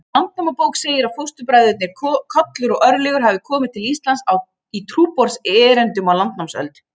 Landnámabók segir að fóstbræðurnir Kollur og Örlygur hafi komið til Íslands í trúboðserindum á landnámsöld.